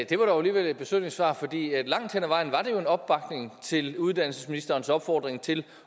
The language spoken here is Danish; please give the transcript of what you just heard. det var dog alligevel et besynderligt svar for langt hen ad vejen var det jo en opbakning til uddannelsesministerens opfordring til